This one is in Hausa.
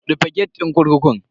Rufe gate din kurkukun.